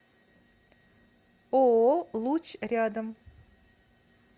ооо луч рядом